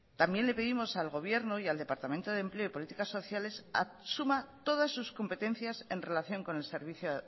también le pedimos al gobierno y al departamento de empleo y políticas sociales asuma todas sus competencias en relación con el servicio